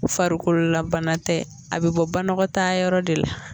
Farikolola bana tɛ a be bɔ banakɔtaayɔrɔ de la